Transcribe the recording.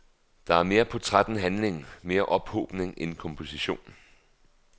Der er mere portræt end handling, mere ophobning end komposition.